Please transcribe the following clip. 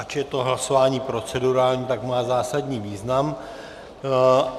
Ač je to hlasování procedurální, tak má zásadní význam.